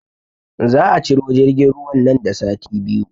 Za a ciro jirgin ruwan nan da sati biyu